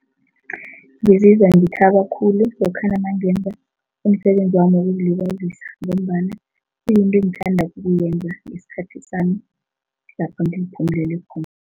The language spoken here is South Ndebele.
Ngizizwa ngithaba khulu lokhana nangenza umsebenzi wami wokuzilibazisa ngombana kuyinto engithanda ukuyenza ngesikhathi sami lapha ngiziphumelele khona.